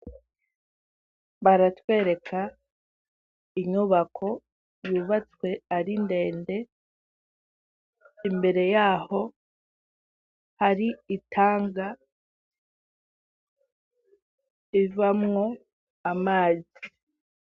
Baratwereka inyubako yubatswe ari ndende imbere y'aho hari itanga ivamwo amazi.